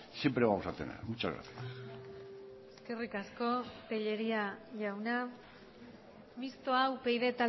siempre vamos a tener muchas gracias eskerrik asko tellería jauna mistoa upyd